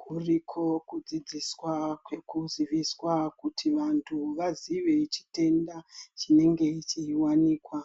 Kuriko kudzidziswa kwekuziviswa kuti vantu vaziye chitenda chinenge cheiwanikwa.